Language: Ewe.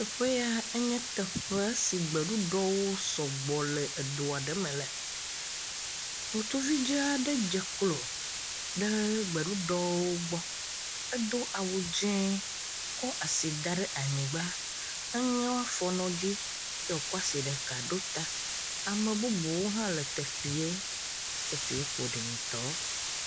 Teƒe ya nye teƒe si gbeɖuɖɔwo sugbɔ le edo aɖe me le. Ŋutsuvi dzɛ aɖe dzeklo ɖe gbeɖuɖɔwo gbɔ. Edo awu dzɛ̃ kɔ asi da ɖe anyigba. Eŋe woa fɔwo nɔ edzi eye wokɔ asi ɖeka ɖo ta. Ame bubuwo hã le teƒea. Teƒea ƒo ɖi ŋutɔ.